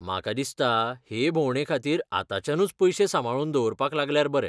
म्हाका दिसता हे भोंवडे खातीर आताच्यानूय पयशे सांबाळून दवरपाक लागल्यार बरें.